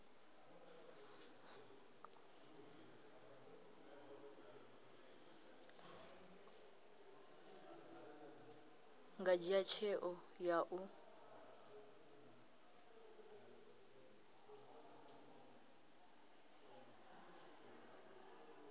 nga dzhia tsheo ya u